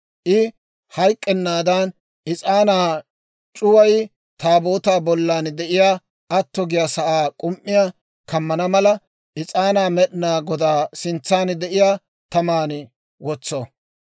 I hayk'k'ennaadan, is'aanaa c'uway Taabootaa bollan de'iyaa atto giyaa sa'aa k'um"iyaa kammana mala, is'aanaa Med'inaa Godaa sintsan de'iyaa taman wotso.